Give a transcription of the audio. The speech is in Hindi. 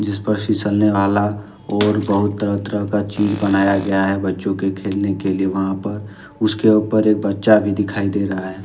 इस पर फिसलने वाला और बहुत तरह का चीज बनाया गया है बच्चों के खेलने के लिए वहां पर उसके ऊपर एक बच्चा भी दिखाई दे रहा है।